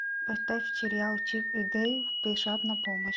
поставь сериал чип и дейл спешат на помощь